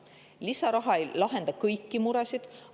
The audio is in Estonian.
Lisaraha ei lahenda kõiki muresid.